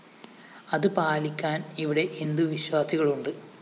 അത് പാലിക്കാൻ ഇവിടെ ഹിന്ദുവിശ്വാസികളുണ്ട്